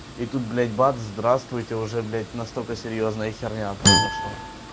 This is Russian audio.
и тут блять бад здравствуйте уже блять настолько серьёзная херня произошла